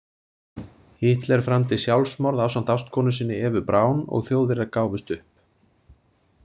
Hitler framdi sjálfsmorð ásamt ástkonu sinni Evu Braun og Þjóðverjar gáfust upp.